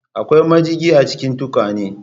Akwai majigi a cikin tukwanan